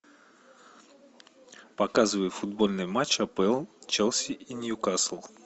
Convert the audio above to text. показывай футбольный матч апл челси и ньюкасл